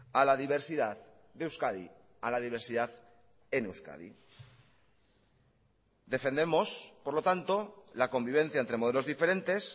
a la diversidad de euskadi a la diversidad en euskadi defendemos por lo tanto la convivencia entre modelos diferentes